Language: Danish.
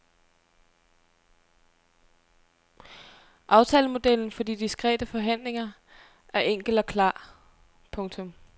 Aftalemodellen for de diskrete forhandlinger er enkel og klar. punktum